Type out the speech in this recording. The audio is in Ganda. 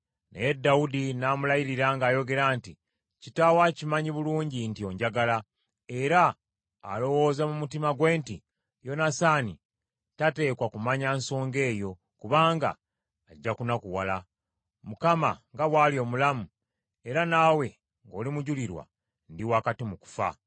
Naye Dawudi n’amulayirira ng’ayogera nti, “Kitaawo akimanyi bulungi nti onjagala, era alowooza mu mutima gwe nti, ‘Yonasaani tateekwa kumanya nsonga eyo, kubanga ajja kunakuwala.’ Mukama nga bw’ali omulamu, era naawe ng’oli mujulirwa, ndi wakati mu kufa.”